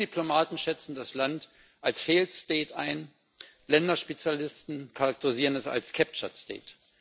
EU Diplomaten schätzen das Land als failed state ein, Länderspezialisten charakterisieren es als captured state